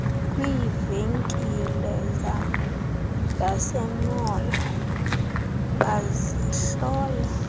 kwiivenkile zasemall bazihlola